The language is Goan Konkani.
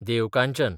देवकांचन